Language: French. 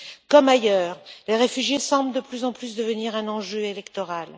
Comme ailleurs, les réfugiés semblent de plus en plus devenir un enjeu électoral.